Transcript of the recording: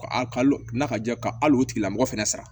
Ka n'a ka ja ka hali o tigila mɔgɔ fɛnɛ sara